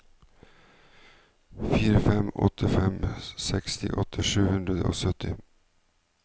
fire fem åtte fem sekstiåtte sju hundre og sytti